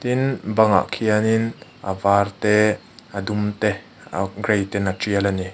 tin bangah khianin a var te a dum te uhk a gray ten a tial a ni.